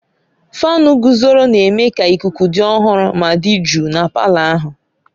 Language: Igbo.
Fáan guzoro na-eme ka ikuku dị ọhụrụ ma dị jụụ na palọ ahụ.